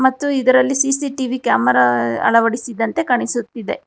ಮತ್ತು ಇದರಲ್ಲಿ CCTV camera ಅಳವಡಿಸಿದಂತೆ ಕಾಣಿಸುತ್ತದೆ.